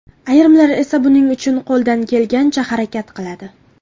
Ayrimlar esa buning uchun qo‘ldan kelgancha harakat qiladi.